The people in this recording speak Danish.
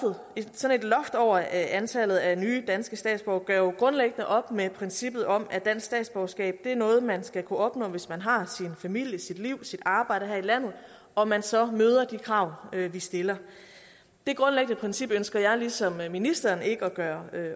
sådan et loft over antallet af nye danske statsborgere gør jo grundlæggende op med princippet om at dansk statsborgerskab er noget man skal kunne opnå hvis man har sin familie sit liv sit arbejde her i landet og man så møder de krav vi stiller det grundlæggende princip ønsker jeg ligesom ministeren ikke at gøre